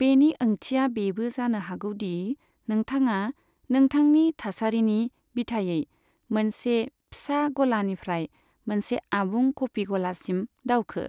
बेनि ओंथिया बेबो जानो हागौ दि नोंथाङा नोंथांनि थासारिनि बिथायै मोनसे फिसा गलानिफ्राय मोनसे आबुं कफि गलासिम दावखो।